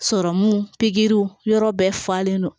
Sɔrɔmu pikiriw yɔrɔ bɛɛ falen don